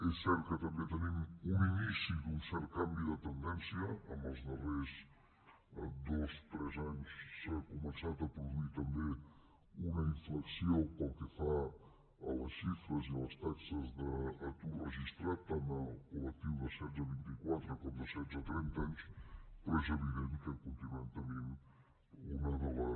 és cert que també tenim un inici d’un cert canvi de tendència en els darrers dos tres anys s’ha començat a produir també una inflexió pel que fa a les xifres i a les taxes d’atur registrat tant al col·lectiu de setze a vint i quatre com al de setze a trenta anys però és evident que continuem tenint una de les